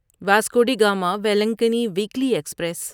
Vasco da Gama Velankanni weekly express